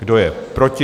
Kdo je proti?